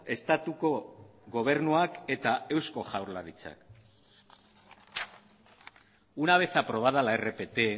estatuko gobernuak eta eusko jaurlaritzak una vez aprobada la rpt